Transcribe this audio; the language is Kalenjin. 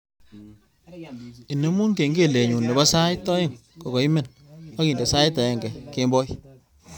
Inemu kengelenyu nebo sait aeng kogaimen agindene sait agenge kemboi